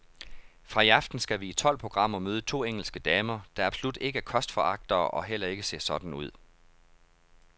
Fra i aften skal vi i tolv programmer møde to engelske damer, der absolut ikke er kostforagtere og heller ikke ser sådan ud.